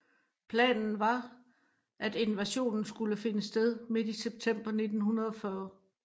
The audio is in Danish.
Planen var at invasionen skulle finde sted midt i september 1940